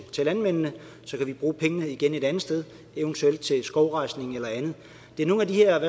landmændene og så kan vi bruge pengene et andet sted eventuelt til skovrejsning eller andet det er nogle af de her